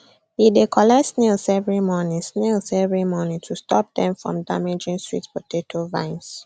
he dey collect snails every morning snails every morning to stop them from damaging sweet potato vines